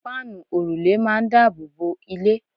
páànù òrùlé máà ń daboobo ilé